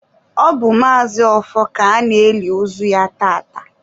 ọ bụ Maazi Ọfọ ka a na-eli ozu ya tata